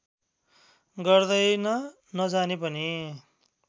गर्दैन नजाने पनि